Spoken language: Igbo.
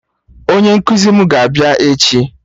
Onye nkụzi mụ ga-abịa echi